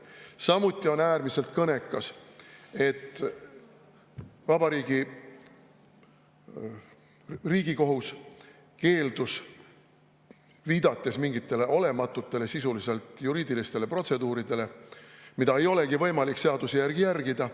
Samuti on äärmiselt kõnekas, et Riigikohus keeldus teemaga tegelemast, viidates mingitele olematutele, sisuliselt juriidilistele protseduuridele, mida ei olegi võimalik seaduse järgi järgida.